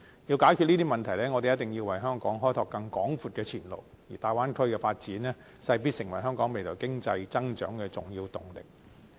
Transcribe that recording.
要解決這些問題，我們一定要為香港開拓更廣闊的前路，而大灣區的發展勢必成為香港未來經濟增長的重要動力。